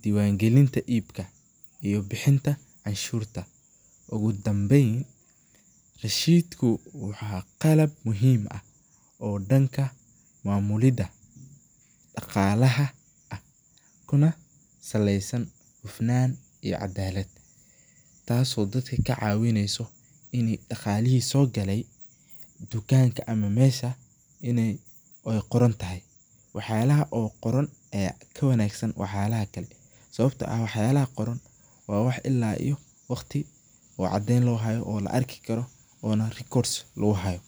diiban galinta iibka iyo bixinta canshurta, oogu danbeen rashidku wuxuu yahay qalab muhiim ah oo danka mamulida daqaalaha ah kuna saleeysan hufnaan iyo cadaalad, taas oo dadka kacawineysa in daqaalihi soo gale tukanka ama meesha inaay qoran tahay, wax yaabaha qoran ayaa ka wanagsan wax yaabaha kale sababta oo ah wax yaabaha qoran waa wax ilaa iyo waqti uu cadeen loo haayo oo la arki arko oona records lagu haayo.